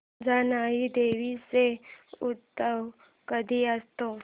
जानाई देवी चा उत्सव कधी असतो